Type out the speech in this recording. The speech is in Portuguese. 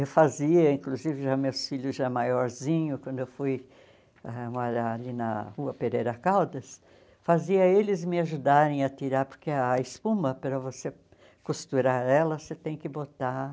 Eu fazia, inclusive, já meus filhos já maiorzinhos, quando eu fui ãh morar ali na rua Pereira Caldas, fazia eles me ajudarem a tirar, porque a espuma, para você costurar ela, você tem que botar...